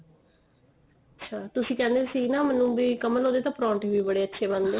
ਤੁਸੀਂ ਕਹਿੰਦੇ ਸੀ ਨਾ ਮੈਨੂੰ ਵੀ ਕਮਲ ਉਹਦੇ ਤਾਂ ਪਰੋਂਠੇ ਵੀ ਬੜੇ ਅੱਛੇ ਬਣਦੇ ਏ